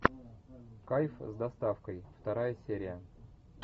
кайф с доставкой вторая серия